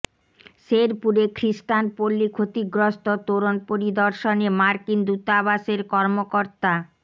শেরপুরে খ্রিষ্টান পল্লি ক্ষতিগ্রস্ত তোরণ পরিদর্শনে মার্কিন দূতাবাসের কর্মকর্তা